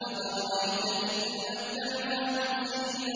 أَفَرَأَيْتَ إِن مَّتَّعْنَاهُمْ سِنِينَ